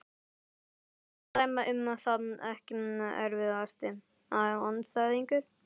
Erfitt að dæma um það Ekki erfiðasti andstæðingur?